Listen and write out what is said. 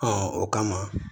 o kama